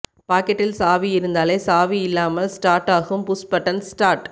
பாக்கெட்டில் சாவி இருந்தாலே சாவி இல்லாமல் ஸ்டார்ட் ஆகும் புஷ் பட்டன் ஸ்டார்ட்